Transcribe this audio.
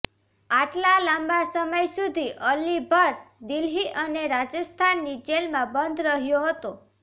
આટલા લાંબા સમય સુધી અલી ભટ્ટ દિલ્હી અને રાજસ્થાનની જેલમાં બંધ રહ્યો હતો